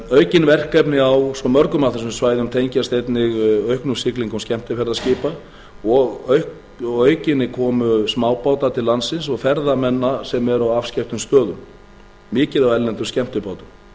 aukin verkefni á svo mörgum af þessum svæðum tengjast einnig auknum siglingum skemmtiferðaskipa og að auki komu smábáta til landsins og ferðamanna sem eru á afskekktum stöðum mikið af erlendum skemmtibátum